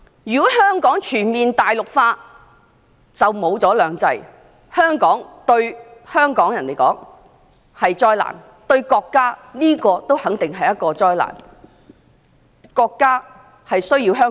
如果香港全面大陸化，"兩制"便會消失，對香港人和國家來說也肯定是災難。